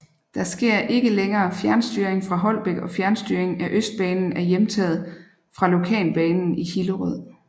Der sker ikke længere fjernstyring fra Holbæk og fjernstyring af Østbanen er hjemtaget fra Lokalbanen i Hillerød